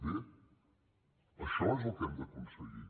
bé això és el que hem d’aconseguir